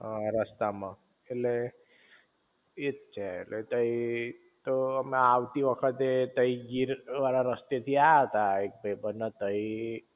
હ રસ્તા માં ઍટલે એ જ છે તય તો અમે આવતી વખતે તય ગીર વાળા રસ્તે થી એ આયા તા એટલે પણ તઈ